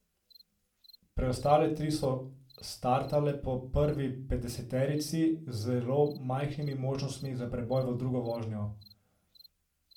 Preostale tri so startale po prvi petdeseterici, z zelo majhnimi možnostmi za preboj v drugo vožnjo.